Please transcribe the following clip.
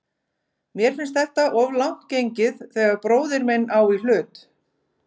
Mér finnst þetta of langt gengið þegar bróðir minn á í hlut.